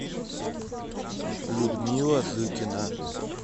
людмила зыкина